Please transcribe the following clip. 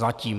Zatím.